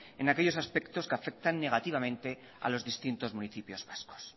en aquellos aspectos que afectan negativamente a los distintos municipios vascos